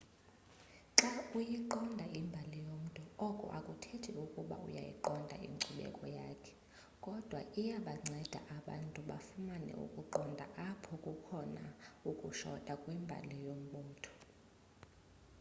xa uyiqonda imbali yomntu oko akuthethi ukuba uyayiqonda inkcubeko yakhe kodwa iyabanceda abantu bafumane ukuqonda apho kukhona ukushota kwimbali yombutho